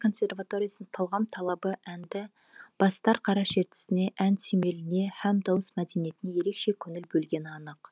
дала консерваториясының талғам талабы әнді бастар қара шертісіне ән сүйемеліне һәм дауыс мәдениетіне ерекше көңіл бөлгені анық